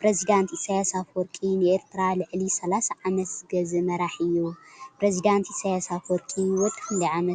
ፕሪዝደንት ኢሳያስ አፈወርቂ ንኤሪትራ ልዕሊ ሳላሳ ዓመት ዝገዝእ መራሒ እዩ። ፕሪዝደንት ኢሳያስ አፈወርቂ ወዲ ክንደይ ዓመት ይመስለኩም?